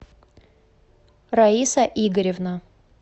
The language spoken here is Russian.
раиса игоревна